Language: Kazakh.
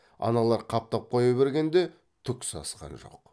аналар қаптап қоя бергенде түк сасқан жоқ